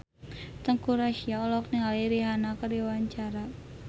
Teuku Rassya olohok ningali Rihanna keur diwawancara